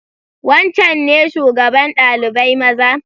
Wancan ne shugaban dalibai maza?